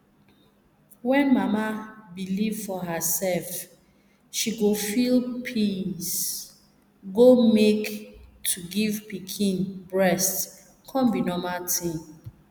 when mama believe for herself she go feel peacee go make to give pikin breast come be normal tin